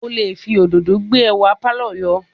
O lè fi òdòdó gbé ẹwà pàlọ́ yọ